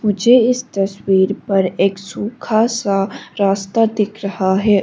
मुझे इस तस्वीर पर एक सूखा सा रास्ता दिख रहा है।